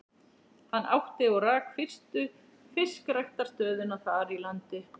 Hann átti og rak fyrstu fiskræktarstöðina þar í landi.